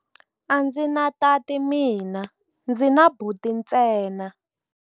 A ndzi na tati mina, ndzi na buti ntsena.